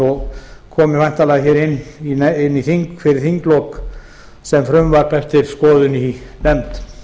og komi væntanlega í þing fyrir þinglok sem frumvarp eftir skoðun í nefnd